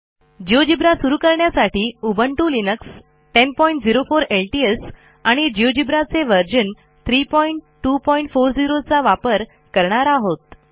GeoGebra सुरू करण्यासाठी Ubuntu Linux 1004 LTS आणि जिओजेब्रा चे व्हर्शन 3240 चा वापर करणार आहोत